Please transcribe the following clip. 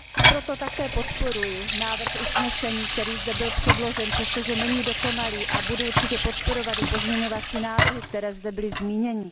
Proto také podporuji návrh usnesení, který zde byl předložen, přestože není dokonalý a budu určitě podporovat i pozměňovací návrhy, které zde byly zmíněny.